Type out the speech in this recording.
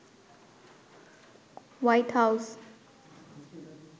white house